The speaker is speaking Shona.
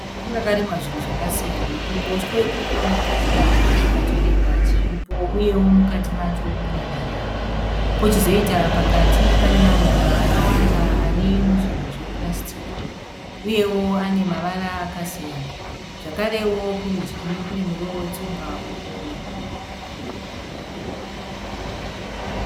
Bindu rakarimwa zvinhu zvakasiyana. Kuruboshwe kuri kuoneka chibage chakatoreba chiripo uye mukati macho mune derere . Pochizoita pakati pane maruva akawanda ari muzvinhu zvepurasitiki ,uyewo ane mavara akasiyana. Zvakarewo kurudyi Kune muriwo wetsunga irikuoneka .